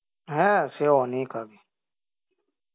হ্যাঁ সে অনেক আগে